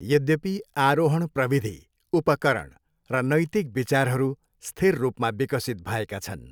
यद्यपि, आरोहण प्रविधि, उपकरण र नैतिक विचारहरू स्थिर रूपमा विकसित भएका छन्।